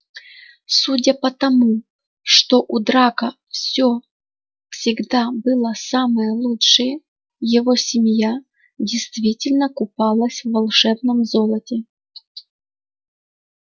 судя по тому что у драко всё всегда было самое лучшее его семья действительно купалась в волшебном золоте